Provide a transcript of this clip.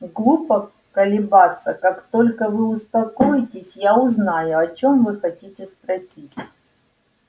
глупо колебаться как только вы успокоитесь я узнаю о чем вы хотите спросить